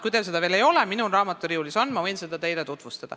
Kui teil seda veel ei ole, siis ma võin seda teile tutvustada – see on mul raamaturiiulis.